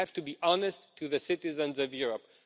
We have to be honest with the citizens of Europe.